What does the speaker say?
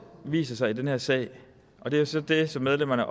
viser sig i den her sag og det er så det som medlemmerne